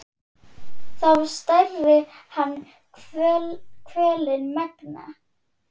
þá særði hann kvölin megna.